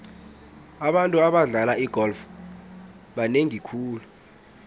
abantu abadlala igolf banengi khulu